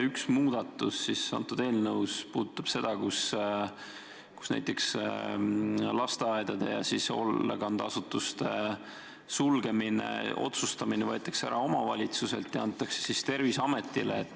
Üks muudatus selles eelnõus puudutab seda, et näiteks lasteaedade ja hoolekandeasutuste sulgemise üle otsustamise õigus võetakse omavalitsuselt ära ja antakse Terviseametile.